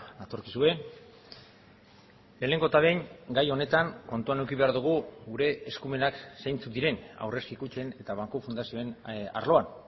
natorkizue lehenengo eta behin gai honetan kontuan eduki behar dugu gure eskumenak zeintzuk diren aurrezki kutxen eta banku fundazioen arloan